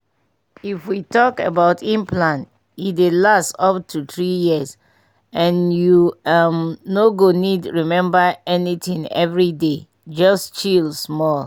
if we talk about implant e dey last up to three years and you um no go need remember anything every day — just chill small.